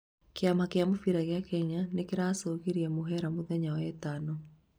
Kĩama kĩa mũbĩra gĩa Kenya nĩkĩracũngire mũhera mũthenya wa wetano